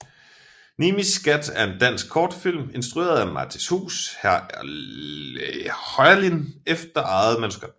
Nimis Skat er en dansk kortfilm instrueret af Mattis Huus Heurlin efter eget manuskript